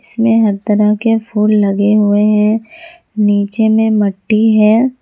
इसमें हर तरह के फूल लगे हुए हैं नीचे में मट्टी है।